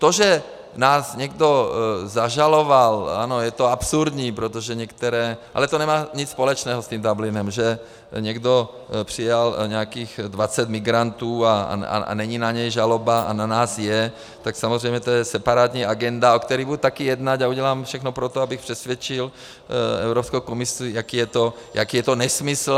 To, že nás někdo zažaloval - ano, je to absurdní, protože některé... ale to nemá nic společného s tím Dublinem, že někdo přijal nějakých 20 migrantů a není na něj žaloba a na nás je, tak samozřejmě to je separátní agenda, o které budu taky jednat, a udělám všechno pro to, abych přesvědčil Evropskou komisi, jaký je to nesmysl.